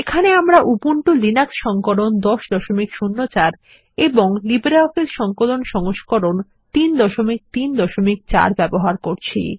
এখানে আমরা Ubuntu Linux সংস্করণ 1004 এবং লিব্রিঅফিস সংকলন সংস্করণ 334 ব্যবহার করছি